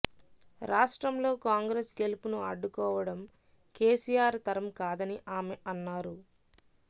రాష్ట్రంలో కాంగ్రెస్ గెలుపును అడ్డుకోవడం కేసీఆర్ తరం కాదని ఆమె అన్నారు